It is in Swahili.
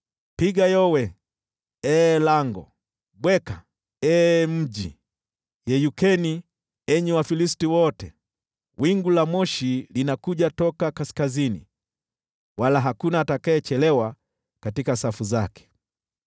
Piga yowe, ee lango! Bweka, ee mji! Yeyukeni, enyi Wafilisti wote! Wingu la moshi linakuja toka kaskazini, wala hakuna atakayechelewa katika safu zake.